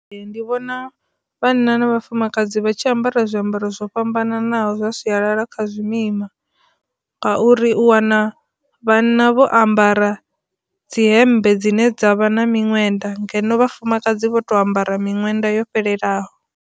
Ndi vhona vhanna na vhafumakadzi vha tshi ambara zwiambaro zwo fhambananaho zwa sialala kha zwimima ngauri u wana vhanna vho ambara dzi hembe dzine dza vha na miṅwenda ngeno vhafumakadzi vho to ambara miṅwenda yo fhelelaho.